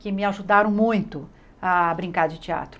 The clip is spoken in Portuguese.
que me ajudaram muito a brincar de teatro.